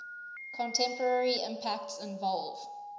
contemporary impacts involve